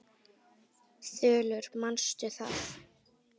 Þulur: Manstu það?